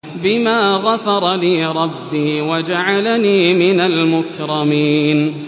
بِمَا غَفَرَ لِي رَبِّي وَجَعَلَنِي مِنَ الْمُكْرَمِينَ